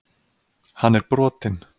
Hann er brotinn.